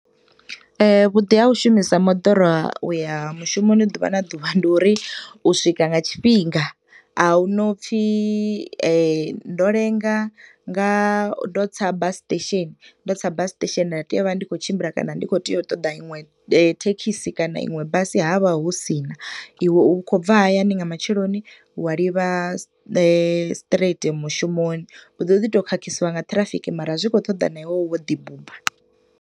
Vhuḓi ha u shumisa moḓoro uya mushumoni ḓuvha na ḓuvha ndi uri u swika nga tshifhinga. A huna u pfi ndo lenga nga, ndo tsa bus station, ndo tsa bus station nda teya u vha ndi khou tshimbila kana ndi khou teya u ṱoḓa iṅwe thekhisi kana inwe basi havha hu sina. I we u khou bva hayani nga matsheloni wa livha straight mushumoni. U ḓo ḓi to khakhisiwa nga ṱhirafiki mara zwi khou ṱoḓa na iwe wo ḓi buba.